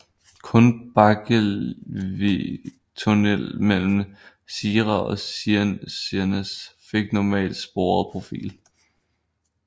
Kun Bakkekleivi tunell mellem Sira og Sirnes fik normaltsporet profil